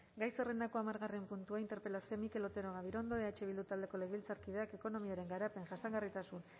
gai zerrendako hamargarren puntua interpelazioa mikel otero gabirondo eh bildu taldeko legebiltzarkideak ekonomiaren garapen jasangarritasun